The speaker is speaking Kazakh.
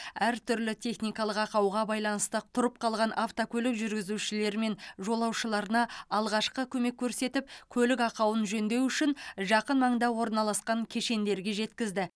әртүрлі техникалық ақауға байланысты тұрып қалған автокөлік жүргізушілері мен жолаушыларына алғашқы көмек көрсетіп көлік ақауын жөндеу үшін жақын маңда орналасқан кешендерге жеткізді